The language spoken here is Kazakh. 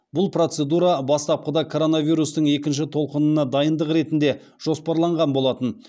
бұл процедура бастапқыда коронавирустың екінші толқынына дайындық ретінде жоспарланған болатын